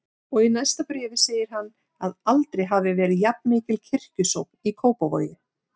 Og í næsta bréfi segir hann að aldrei hafi verið jafnmikil kirkjusókn í Kópavogi.